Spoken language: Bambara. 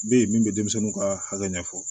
Bɛ yen min bɛ denmisɛnninw ka hakɛ ɲɛfɔ